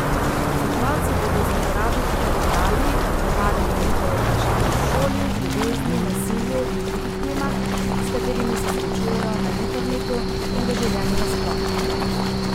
Svetovalci bodo z uporabniki klepetali, odgovarjali na njihova vprašanja o šoli, ljubezni, nasilju in drugih temah, s katerimi se srečujejo na internetu in v življenju nasploh.